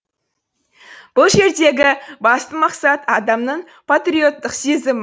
бұл жердегі басты мақсат адамның патриоттық сезімі